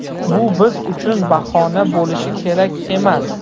Bu biz uchun bahona bo‘lishi kerak emas.